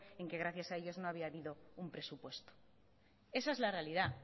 en que gracias a ellos no había habido un presupuesto esa es la realidad